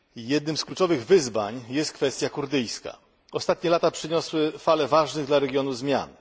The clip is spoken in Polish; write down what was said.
Jednym z kluczowych wyzwań jest kwestia kurdyjska. Ostatnie lata przyniosły falę ważnych dla regionu zmian.